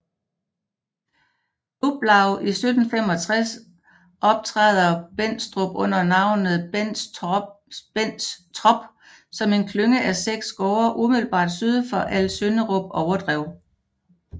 Luplau i 1765 optræder Bendstrup under navnet Benstrop som en klynge af 6 gårde umiddelbart syd for Alsønderup Overdrev